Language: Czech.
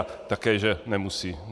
A také že nemusí.